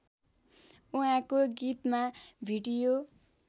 उहाँको गीतमा भिडियो